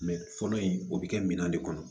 fɔlɔ in o bi kɛ min kɔnɔ